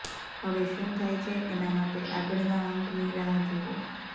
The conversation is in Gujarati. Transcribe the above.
હવે શું થાય છે એના માટે આગળના અંકની રાહ જુઓ